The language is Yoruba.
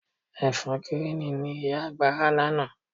Ẹ̀fọ́ gíríìnì ni ìyá àgbà rà lánàá.